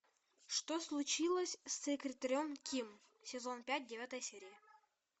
что случилось с секретарем ким сезон пять девятая серия